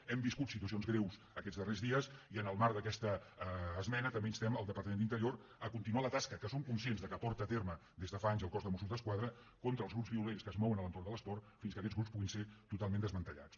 hem viscut situacions greus aquests darrers dies i en el marc d’aquesta esmena també instem el departament d’interior a continuar la tasca que som conscients que porta a terme des de fa anys el cos de mossos d’esquadra contra els grups violents que es mouen a l’entorn de l’esport fins que aquests grups puguin ser totalment desmantellats